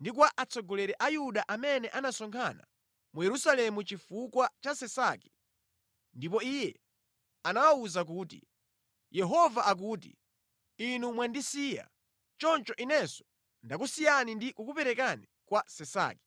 ndi kwa atsogoleri a Yuda amene anasonkhana mu Yerusalemu chifukwa cha Sisaki ndipo iye anawawuza kuti, “Yehova akuti, ‘Inu mwandisiya, choncho Inenso ndakusiyani ndi kukuperekani kwa Sisaki.’ ”